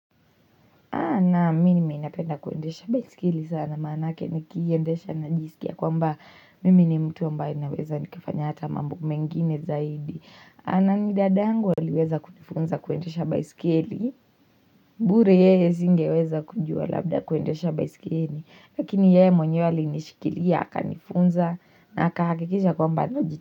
Naam mini napenda kuendesha baiskeli sana manake nikiendesha najisikia kwamba mimi ni mtu ambaye ninaweza nikafanya hata mambo mengine zaidi. Na ni dadangu aliweza kunifunza kuendesha baiskeli, bure yeye singeweza kujua labda kuendesha baiskeli, lakini yeye mwenyewe alinishikilia akanifunza na akahakikisha kwamba najit.